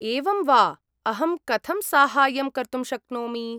एवं वा। अहं कथं साहाय्यं कर्तुं शक्नोमि?